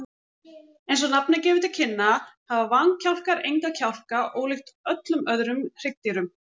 Eins og nafnið gefur til kynna hafa vankjálkar enga kjálka, ólíkt öllum öðrum hryggdýrum.